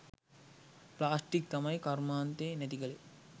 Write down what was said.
Plastic තමයි කරුමාන්තෙ නැතිකලේ.